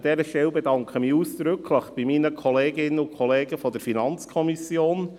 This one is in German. An dieser Stelle bedanke ich mich ausdrücklich bei meinen Kolleginnen und Kollegen der FiKo.